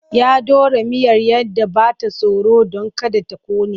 Ya ɗora miyar ya ɗan ba ta tsoro don kada ta ƙone.